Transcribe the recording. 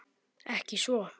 Ekki svo.